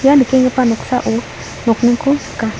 ia nikenggipa noksao nokningko nika.